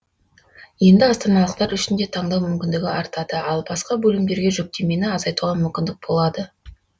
енді астаналықтар үшін де таңдау мүмкіндігі артады ал басқа бөлімдерге жүктемені азайтуға мүмкіндік болады